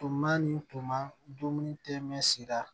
Tuma ni tuma dumuni tɛmɛ sira